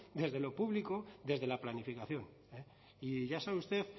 desde lo público desde la planificación y ya sabe usted